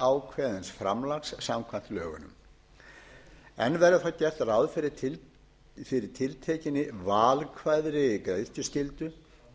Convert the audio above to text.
lögákveðins framlags samkvæmt lögunum enn verði þó gert ráð fyrir tiltekinni valkvæðri greiðsluskyldu